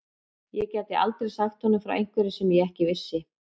Ég gæti aldrei sagt honum frá einhverju sem ég ekki vissi.